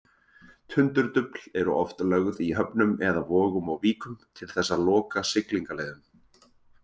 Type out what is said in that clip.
Tundurdufl eru oft lögð í höfnum eða vogum og víkum til þess að loka siglingaleiðum.